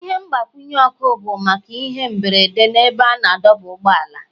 Ihe mgbanyụ ọkụ bụ maka ihe mberede n'ebe a na-adọba ụgbọala.